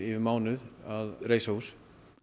um mánuð að reisa hús